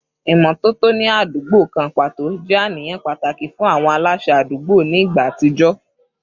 Ìmọ́tótó ní àdúgbò kan pàtó jẹ́ àníyàn pàtàkì fún àwọn aláṣẹ àdúgbò ní ìgbà àtijọ́